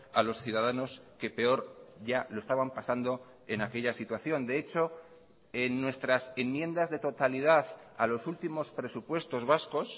a los ciudadanos que peor ya lo estaban pasando en aquella situación de hecho en nuestras enmiendas de totalidad a los últimos presupuestos vascos